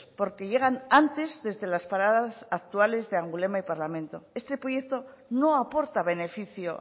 porque llegan antes desde las paradas actuales de angulema y parlamento este proyecto no aporta beneficio